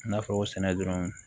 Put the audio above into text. I n'a fɔ sɛnɛ dɔrɔn